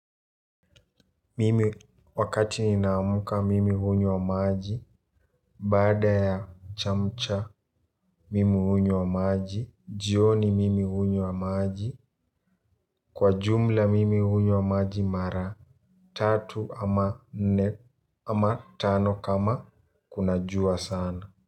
Mimi wakati ninaamka mimi hunywa maji. Baada ya chamcha mimi hunywa maji. Jioni mimi hunywa maji. Kwa jumla mimi hunywa maji mara tatu ama tano kama kama kuna jua sana.